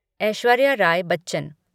Aishwarya Rai Bachchan